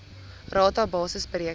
rata basis bereken